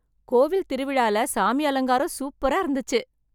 கோவில் திருவிழால சாமி அலங்காரம் சூப்பரா இருந்துச்சு